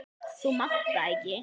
Þú mátt það ekki!